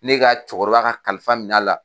Ne ka cɛkɔrɔba ka kalifa minɛ a la.